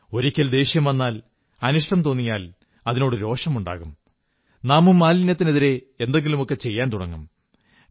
ഒരിക്കൽ ദേഷ്യം വന്നാൽ അനിഷ്ടം തോന്നിയാൽ അതിനോടു രോഷമുണ്ടാകും നാമും മാലിന്യത്തിനെതിരെ എന്തെങ്കിലുമൊക്കെ ചെയ്യാൻ തുടങ്ങും